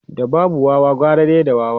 da babu Wawa gara dai da wawa